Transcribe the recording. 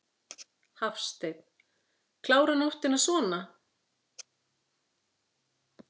Hafsteinn: Klára nóttina svona?